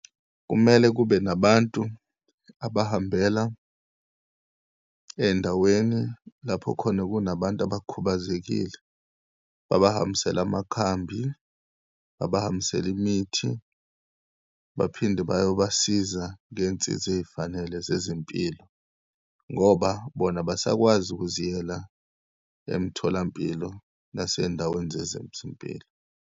Kumele kube nabantu abahambela eyindaweni lapho khona kunabantu abakhubazekile. Babahambisele amakhambi, babahambisele imithi, baphinde bayobasiza ngeyinsiza eyifanele zezempilo, ngoba bona abasakwazi ukuziyela emitholampilo naseyindaweni zezempilo.